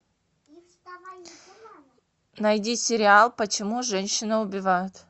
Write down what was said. найди сериал почему женщины убивают